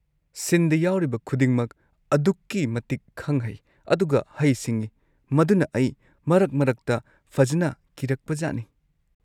ꯁꯤꯟꯗ ꯌꯥꯎꯔꯤꯕ ꯈꯨꯗꯤꯡꯃꯛ ꯑꯗꯨꯛꯀꯤ ꯃꯇꯤꯛ ꯈꯪ-ꯍꯩ, ꯑꯗꯨꯒ ꯍꯩ-ꯁꯤꯡꯉꯤ, ꯃꯗꯨꯅ ꯑꯩ ꯃꯔꯛ-ꯃꯔꯛꯇ ꯐꯖꯟꯅ ꯀꯤꯔꯛꯄꯖꯥꯠꯅꯤ꯫